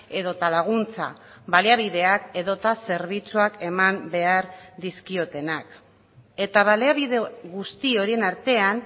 edota laguntza baliabideak edota zerbitzuak eman behar dizkiotenak eta baliabide guzti horien artean